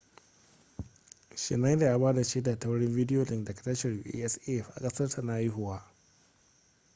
schneider ya ba da shaida ta wurin video link daga tashar usaf a kasarsa na haihuwa